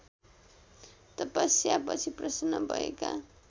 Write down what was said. तपस्यापछि प्रसन्न भएका